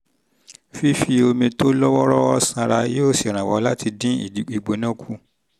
fífi omi tó lọ́ wọ́ọ́rọ́wọ́ ṣan ara yóò ṣèrànwọ́ láti dín ìgbóná kù